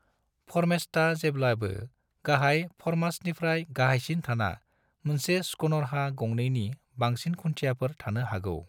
फर्मेस्टा जेब्लाबो गाहाय फर्मास्टनिफ्राय गाहायसिन थाना मोनसे स्कूनरहा गंनैनि बांसिन खुन्थियाफोर थानो हागौ।